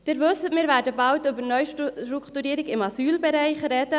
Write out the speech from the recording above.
Wie Sie wissen, werden wir bald über die Neustrukturierung im Asylbereich sprechen.